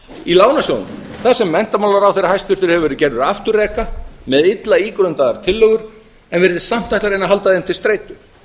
í lánasjóðnum þar sem hæstvirtur menntamálaráðherra hefur verið gerður afturreka með illa ígrundaðar tillögur en virðist samt ætla að reyna að halda þeim til streitu